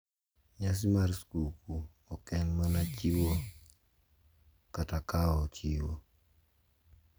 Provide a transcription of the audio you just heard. Nyasi mar skuku ok en mana chiwo kata kawo chiwo.